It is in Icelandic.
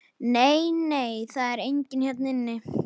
Nei, nei, það er enginn hérna inni.